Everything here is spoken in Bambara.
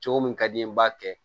Cogo min ka di n ye n b'a kɛ